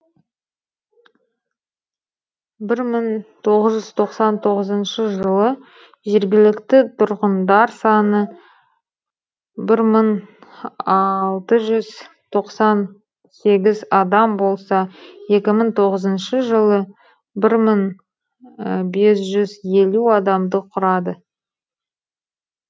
бір мың тоғыз жүз тоқсан тоғызыншы жылы жергілікті тұрғындар саны бір мың алты жүз тоқсан сегіз адам болса екі мың тоғызыншы жылы бір мың бес жүз елу адамды құрады